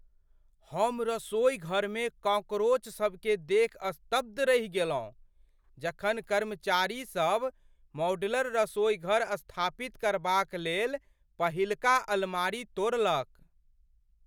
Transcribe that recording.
हम रसोईघरमे कॉकरोचसभकेँ देखि स्तब्ध रहि गेलहुँ जखन कर्मचारीसभ मॉड्यूलर रसोईघर स्थापित करबाक लेल पहिलका अलमारी तोड़लक।